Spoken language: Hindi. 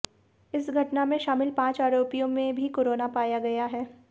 इस घटना में शामिल पांच आरोपियों में भी कोरोना पाया गया है